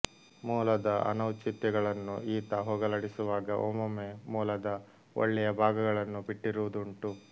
ಮೂಲದ ಅನೌಚಿತ್ಯಗಳನ್ನು ಈತ ಹೋಗಲಾಡಿಸುವಾಗ ಒಮ್ಮೊಮ್ಮೆ ಮೂಲದ ಒಳ್ಳೆಯ ಭಾಗಗಳನ್ನು ಬಿಟ್ಟಿರುವುದೂ ಉಂಟು